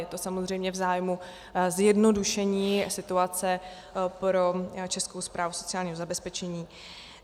Je to samozřejmě v zájmu zjednodušení situace pro Českou správu sociálního zabezpečení.